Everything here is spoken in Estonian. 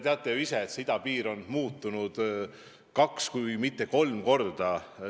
Te teate ju ka, et idapiiri maksumus on kasvanud kaks, kui mitte kolm korda.